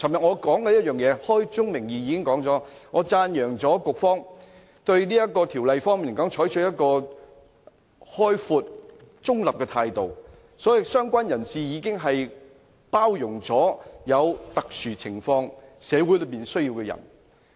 我昨天已開宗明義讚揚局方對《條例草案》採取開放而中立的態度，所以"相關人士"已包容社會上在特殊情況下有需要的人。